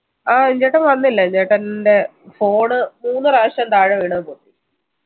ആ വിജയേട്ടൻ വന്നില്ല വിജയേട്ടൻടെ phone മൂന്ന് പ്രാവശ്യം താഴെ വീണു